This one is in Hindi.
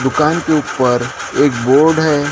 दुकान के ऊपर एक बोर्ड है।